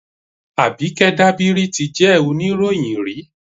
Àbíkẹ́ Dábírí ti jẹ́ oníròyìn rí